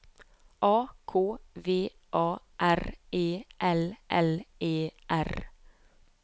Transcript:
A K V A R E L L E R